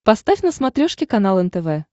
поставь на смотрешке канал нтв